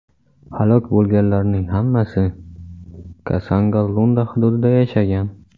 Halok bo‘lganlarning hammasi Kasongo-Lunda hududida yashagan.